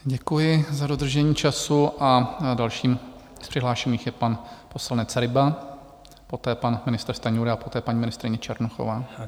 Děkuji za dodržení času a dalším z přihlášených je pan poslanec Ryba, poté pan ministr Stanjura a poté paní ministryně Černochová.